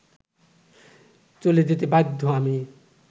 চলে যেতে বাধ্য আমি